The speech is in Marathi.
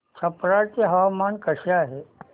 छप्रा चे हवामान कसे आहे